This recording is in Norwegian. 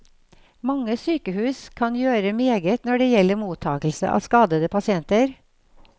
Mange sykehus kan gjøre meget når det gjelder mottagelse av skadede pasienter.